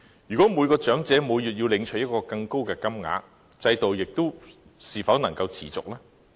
如果每名長者每月要領取更高的金額，制度是否仍然能夠持續呢？